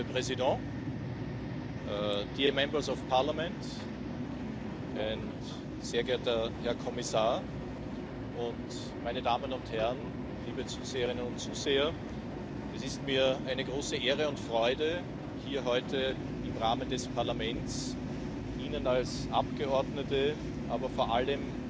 Präsidentin, verehrte Abgeordnete, sehr geehrter Herr Kommissar und meine Damen und Herren, liebe Zuschauerinnen und Zuschauer! Es ist mir eine große Ehre und Freude, hier heute im Rahmen des Parlaments Ihnen als Abgeordnete, aber vor allem